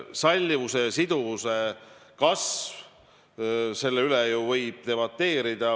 Sallivuse ja sidususe kasv – selle üle võib ju debateerida.